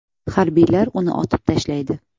Harbiylar uni otib tashlaydi.